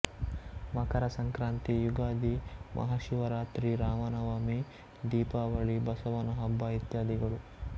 ಮಕರ ಸಂಕ್ರಾಂತಿ ಯುಗಾದಿ ಮಹಾಶಿವರಾತ್ರಿ ರಾಮನವಮಿ ದೀಪಾವಳಿಬಸವನ ಹಬ್ಬ ಇತ್ಯಾದಿಗಳು